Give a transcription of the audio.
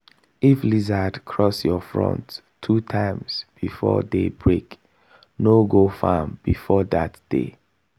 if lizard cross your front two times before day break no go farm that day.